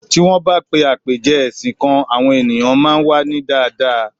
Ti won ba pè apeje ẹsìn kan, àwọn ènìyàn máa n wa ni daadaa